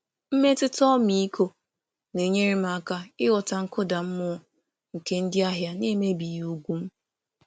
Mmetụta ọmịiko na-enyere m aka ịghọta mkpasu iwe ndị ahịa na-emebi ugwu m.